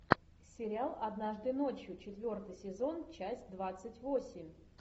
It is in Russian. сериал однажды ночью четвертый сезон часть двадцать восемь